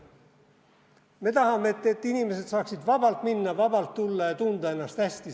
Me tahame, et inimesed saaksid vabalt minna, vabalt tulla ja tunda seejuures ennast hästi.